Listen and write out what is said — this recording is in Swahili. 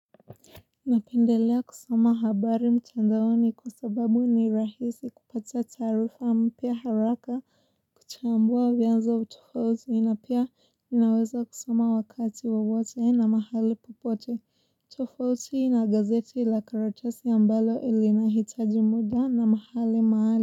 Napendelea kusoma habari mtandaoni kwa sababu ni rahisi kupata taarifa mpya haraka kuchambua vyanzo wa tofauti na pia ninaweza kusoma wakati wowote na mahali popote tofauti na gazeti la karatesi ambalo linahitaji muda na mahali mahali.